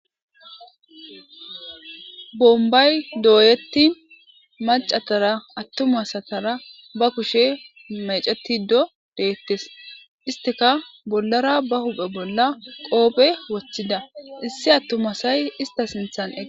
Bombay dooyetti macatara attumasatara ba kushe mecetido deettes isteka bollara ba huphe bolla qoophe wochchida issi attumasay ista sinthan ega